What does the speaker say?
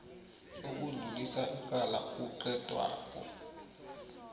sokudlulisa icala kuqedwako